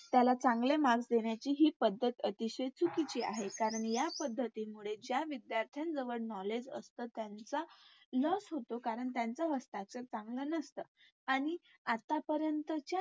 त्याला चांगले Marks देण्याची हि पद्धत अतिशय चुकीची आहे कारण या पद्धतीमुळे ज्या विधायर्थ्यांजवळ Knowledge असते त्या विद्यार्थ्यांचं Loss होतो कारण त्यांचं हस्ताक्षर चांगलं नसतं आणि आत्ता